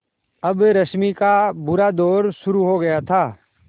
अब रश्मि का बुरा दौर शुरू हो गया था